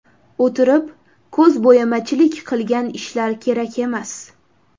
O‘tirib, ko‘zbo‘yamachilik qilgan ishlar kerak emas.